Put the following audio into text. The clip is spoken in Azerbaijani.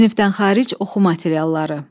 Sinifdən xaric oxu materialları.